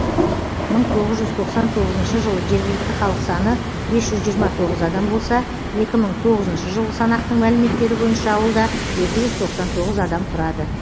мың тоғыз жүз тоқсан тоғызыншы жылы жергілікті халық саны бес жүз жиырма тоғыз адам болса екі мың тоғызыншы жылғы санақтың мәліметтері бойынша ауылда екі жүз тоқсан тоғыз адам тұрады